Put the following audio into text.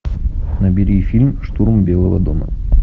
набери фильм штурм белого дома